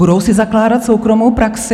Budou si zakládat soukromou praxi?